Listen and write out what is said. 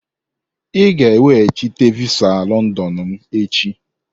Ị ga-eweghachite visa Londonu m echi!